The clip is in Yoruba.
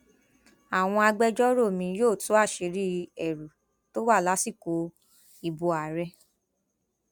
àwọn agbẹjọrò mi yóò tú àṣírí ẹrù tó wà lásìkò ìbò ààrẹ